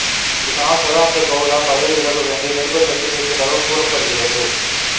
இதனால் சதானந்த கவுடா பதவி விலக வேண்டிய நிர்பந்தத்தில் இருப்பதாகக் கூறப்படுகிறது